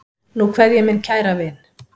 Nú kveð ég minn kæra vin.